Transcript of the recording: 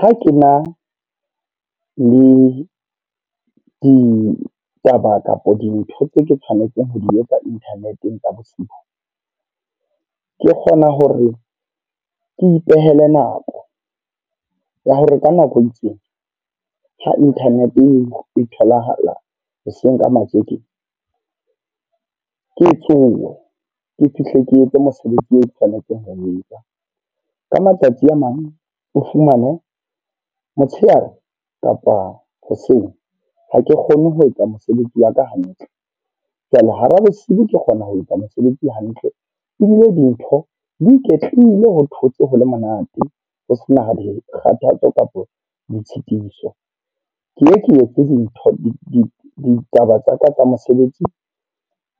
Ha ke na le ditaba kapa dintho tse ke tshwanetseng ho di etsa internet-eng tsa bosibu. Ke kgona hore ke ipehele nako, ya hore ka nako e itseng, ha internet e tholahala hoseng ka matjeke. Ke tsohe, ke fihle ke etse mosebetsi o ke tlamehang ho o etsa. Ka matsatsi a mang, o fumane motsheare kapa hoseng ha ke kgone ho etsa mosebetsi ya ka hantle. Jwale hara bosiu ke kgona ho etsa mosebetsi hantle. Ebile dintho di iketlile ho thotse ho le monate ho sena di kgathatso kapo ditshitiso. Mme ke etse dintho ditaba tsa ka tsa mosebetsi